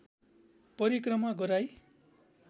परिक्रमा गराई